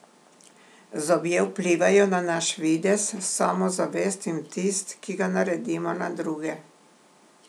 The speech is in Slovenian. Zobje vplivajo na naš videz, samozavest in vtis, ki ga naredimo na druge.